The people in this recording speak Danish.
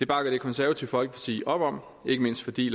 bakkede det konservative folkeparti op om ikke mindst fordi